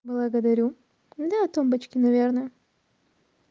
благодарю на тумбочке наверное